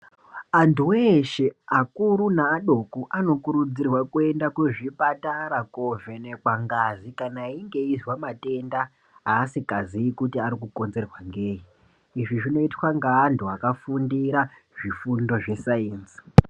Antu veshe vakuru nevadoko anokurudzirwa kuenda kuzvipatara kovhenekwa ngazi kana einge veizwa matenda asingazi kuti anokonzerwa ngei izvi zvinoitwa ngaantu akafundira zvifundo zvesaenzi .